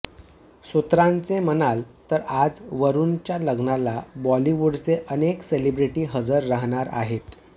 सूत्रांचे मानाल तर आज वरूणच्या लग्नाला बॉलिवूडचे अनेक सेलिब्रिटी हजर राहणार आहेत